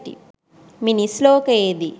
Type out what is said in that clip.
මිනිස් ලෝකයේ දී